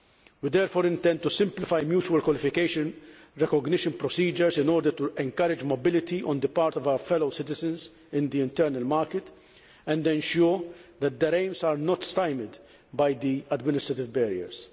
We therefore intend to simplify mutual qualification recognition procedures in order to encourage mobility on the part of our fellow citizens in the internal market and ensure that their aims are not stymied by administrative barriers